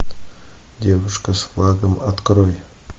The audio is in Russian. девушка с флагом открой